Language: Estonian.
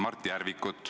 Aitäh!